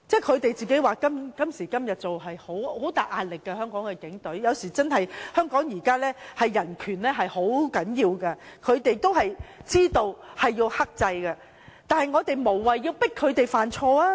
他們表示今時今日在香港擔任警察是很大壓力的，因為現在人權在香港是很重要的，他們也知道要克制，大家無謂要迫他們犯錯。